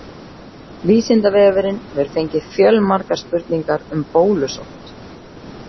Vísindavefurinn hefur fengið fjölmargar spurningar um bólusótt.